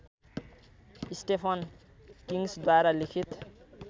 Stephen किङ्ग्सद्वारा लिखित